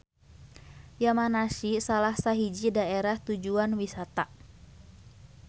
Yamanashi salah sahiji daerah tujuan wisata.